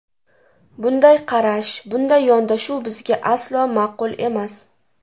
Bunday qarash, bunday yondashuv bizga aslo ma’qul emas.